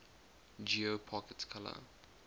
geo pocket color